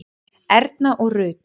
Erna og Rut.